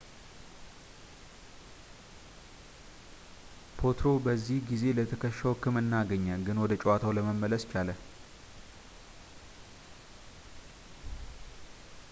ፖትሮ በዚህ ጊዜ ለትከሻው ሕክምና አገኘ ግን ወደ ጨዋታው ለመመለስ ቻለ